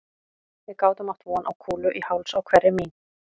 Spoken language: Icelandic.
Við gátum átt von á kúlu í háls á hverri mín